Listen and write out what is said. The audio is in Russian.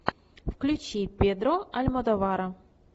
включи педро альмодовара